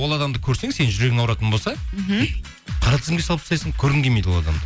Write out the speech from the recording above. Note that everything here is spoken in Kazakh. ол адамды көрсең сен жүрегің ауыратын болса мхм қара тізімге салып тастайсың көргің келмейді ол адамды